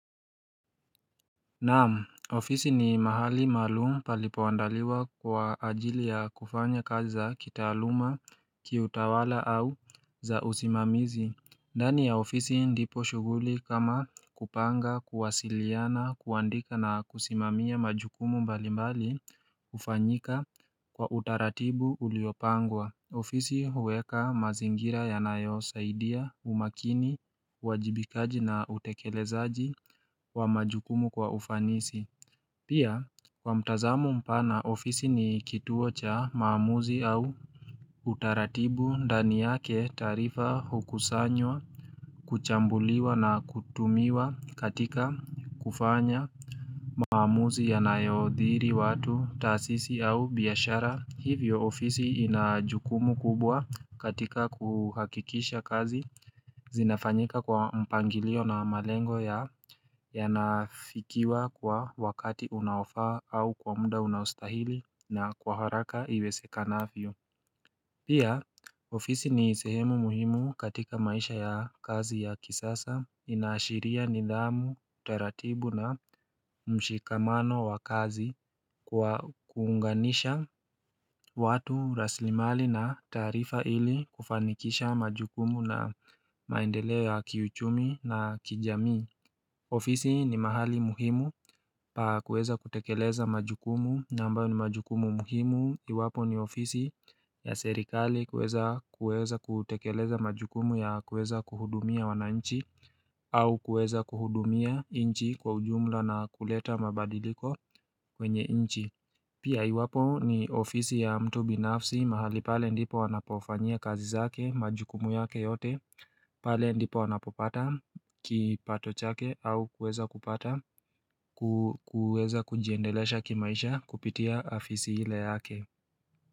Naam, ofisi ni mahali malum palipoandaliwa kwa ajili ya kufanya kaza za kitaaluma, kiutawala au za usimamizi ndani ya ofisi ndipo shuguli kama kupanga, kuwasiliana, kuandika na kusimamia majukumu mbali mbali ufanyika kwa utaratibu uliopangwa ofisi huweka mazingira yanayo saidia, umakini, wajibikaji na utekelezaji wa majukumu kwa ufanisi. Pia, kwa mtazamo mpana ofisi ni kituo cha maamuzi au utaratibu ndani yake taarifa hukusanywa, kuchambuliwa na kutumiwa katika kufanya maamuzi yanayo dhiri watu taasisi au biashara. Hivyo ofisi inajukumu kubwa katika kuhakikisha kazi zinafanyika kwa mpangilio na malengo yanafikiwa kwa wakati unaofaa au kwa muda unaostahili na kwa haraka iwesekanavyo Pia ofisi ni sehemu muhimu katika maisha ya kazi ya kisasa inaashiria nidhamu taratibu na mshikamano wa kazi kuunganisha watu rasilimali na taarifa ili kufanikisha majukumu na maendeleo ya kiuchumi na kijamii ofisi ni mahali muhimu pa kueza kutekeleza majukumu na ambayo ni majukumu muhimu iwapo ni ofisi ya serikali kuweza kueza kutekeleza majukumu ya kueza kuhudumia wananchi au kueza kuhudumia nchi kwa ujumla na kuleta mabadiliko kwenye nchi. Pia iwapo ni ofisi ya mtu binafsi mahali pale ndipo anapofanyia kazi zake majukumu yake yote pale ndipo anapopata ki pato chake au kuweza kupata kuweza kujiendelesha kimaisha kupitia afisi ile yake.